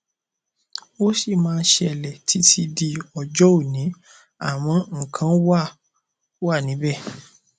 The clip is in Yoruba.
ó sì máa ń ṣẹlẹ títí di ọjọ òní àmọ nǹkan wá wa níbẹ